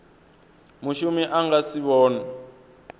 mushumi a nga si vhonwe